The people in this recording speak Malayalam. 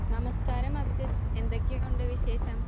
നമസ്ക്കാരം അഭിജിത്ത് എന്തൊക്കെയുണ്ട് വിശേഷം?